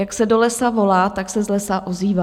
Jak se do lesa volá, tak se z lesa ozývá.